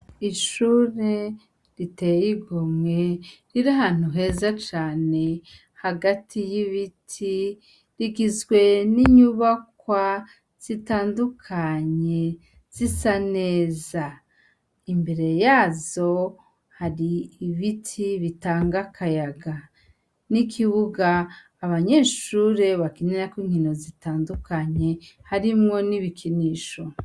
Ishure riteye igomwe riri ahantu heza cane hagati y'ibiti rigizwe n'inyubakwa zitandukanye zisa neza imbere yazo hari ibiti bitanga akayaga n'ikibuga abanyeshure bakinerako inkino zitandukanye harimwo n'ibikinisho.